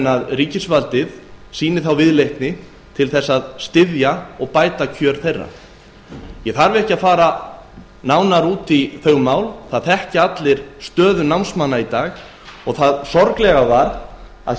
að ríkisvaldið sýni viðleitni til að styðja þá og bæta kjör þeirra ég fer ekki nánar út í þau mál það þekkja allir stöðu námsmanna í dag sorglegt er að þegar